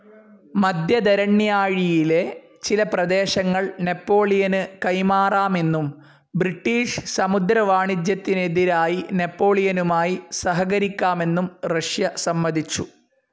മധ്യധരണ്യാഴിയിലെ ചില പ്രദേശങ്ങൾ നെപോളിയനു കൈമാറാമെന്നും ബ്രിട്ടീഷ് സമുദ്രവാണിജ്യത്തിനെതിരായി നെപോളിയനുമായി സഹകരിക്കാമെന്നും റഷ്യ സമ്മതിച്ചു.